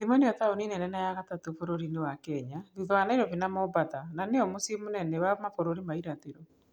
Gĩthumo nĩyo taũni nene ya gatatũ bũrũriinĩ wa Kenya thutha wa Nairobi na Mombatha na nĩyo mũcii mũnene wa Mabũrũri ma irathiro.